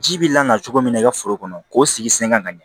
Ji bi langa cogo min na i ka foro kɔnɔ k'o sigi sen ga ɲɛ